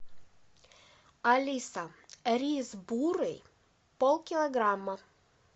алиса рис бурый полкилограмма